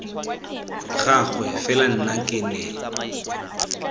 gagwe fela nna ke ne